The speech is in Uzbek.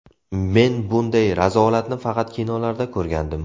Men bunday razolatni faqat kinolarda ko‘rgandim.